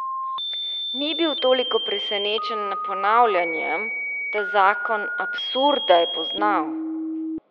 Ni bil toliko presenečen nad ponavljanjem, ta zakon absurda je poznal.